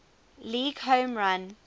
league home run